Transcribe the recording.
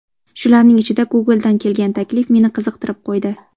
Shularning ichida Google’dan kelgan taklif meni qiziqtirib qo‘ydi.